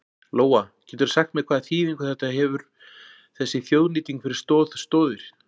Lóa: Geturðu sagt mér hvaða þýðingu þetta hefur þessi þjóðnýting fyrir Stoð Stoðir?